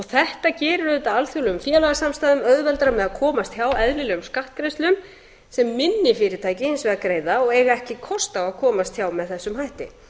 þetta gerir alþjóðlegum félagasamstæðum auðveldara með að komast hjá eðlilegum skattgreiðslum sem minni fyrirtæki hins vegar greiða og eiga ekki kost á að komast hjá með þessum hætti